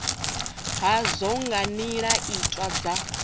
hazwo nga nila tiwa dza